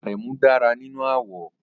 Aremu dára nínú àwọ̀